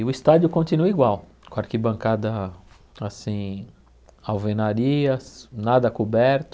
E o estádio continua igual, com arquibancada assim, alvenarias, nada coberto,